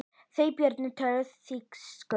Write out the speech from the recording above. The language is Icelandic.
Þeir Björn töluðu þýsku.